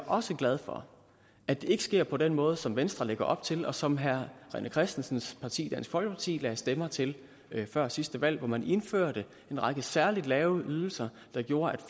også glad for at det ikke sker på den måde som venstre lægger op til og som herre rené christensens parti dansk folkeparti lagde stemmer til før sidste valg hvor man indførte en række særlig lave ydelser der gjorde at